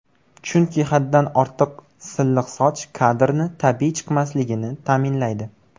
Chunki haddan ortiq silliq soch, kadrni tabiiy chiqmasligini ta’minlaydi.